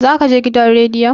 za ka gidan rediyon!